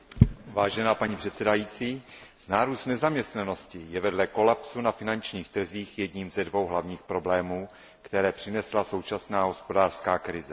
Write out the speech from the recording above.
Vážená paní předsedající, nárůst nezaměstnanosti je vedle kolapsu na finančních trzích jedním ze dvou hlavních problémů, které přinesla současná hospodářská krize.